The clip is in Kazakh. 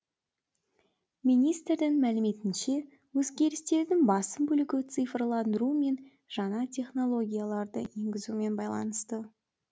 министрдің мәліметінше өзгерістердің басым бөлігі цифрландыру мен жаңа технологияларды енгізумен байланысты